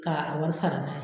Ka a wari sara n'a ye